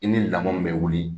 I ni lamɔ min bɛ wuli